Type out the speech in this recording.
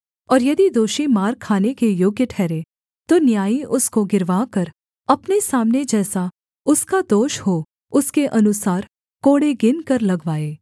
और यदि दोषी मार खाने के योग्य ठहरे तो न्यायी उसको गिरवाकर अपने सामने जैसा उसका दोष हो उसके अनुसार कोड़े गिनकर लगवाए